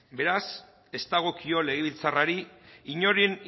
beraz ez dagokio legebiltzarrari inoren